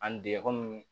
An dege komi